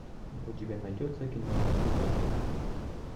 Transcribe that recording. у тебя найдется кино пиноккио